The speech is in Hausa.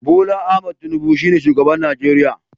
Bola Ahmed Tinubu ne shugaban Najeriya